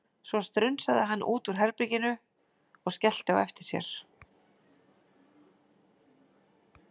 Svo strunsaði hann út úr herbeginu og skellti á eftir sér.